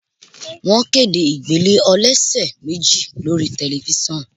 Wọ́n kéde ìgbélé ọlọsẹ̀ méjì lórí Tẹ̀lifísàn